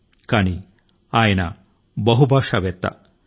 కానీ ఆయన బహుభాషా కోవిదుడు అన్నది కూడా నిజం